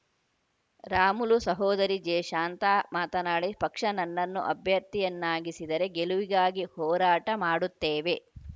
ರಾಮುಲು ಸಹೋದರಿ ಜೆಶಾಂತಾ ಮಾತನಾಡಿ ಪಕ್ಷ ನನ್ನನ್ನು ಅಭ್ಯರ್ಥಿಯನ್ನಾಗಿಸಿದರೆ ಗೆಲುವಿಗಾಗಿ ಹೋರಾಟ ಮಾಡುತ್ತೇವೆ